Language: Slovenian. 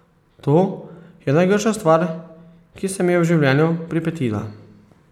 To je najgrša stvar, ki se mi je v življenju pripetila.